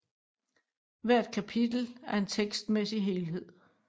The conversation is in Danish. Hvert kapitel er en tekstmæssig helhed